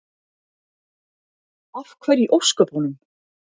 Af hverju í ósköpunum?